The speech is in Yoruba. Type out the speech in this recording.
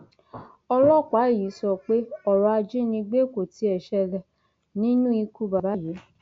ọlọpàá yìí sọ pé ọrọ ajínigbé kò tiẹ ṣẹlẹ nínú ikú bàbá yìí